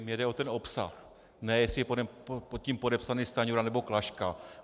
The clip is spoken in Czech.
Mně jde o ten obsah, ne jestli je pod tím podepsaný Stanjura, nebo Klaška.